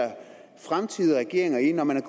fremtidige regeringer i når man er